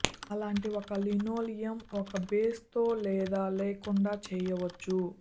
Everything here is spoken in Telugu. అలాంటి ఒక లినోలియం ఒక బేస్ తో లేదా లేకుండా చేయవచ్చు